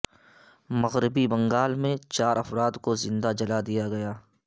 مغربی بنگال میں چار افراد کو زندہ جلا دیا گیا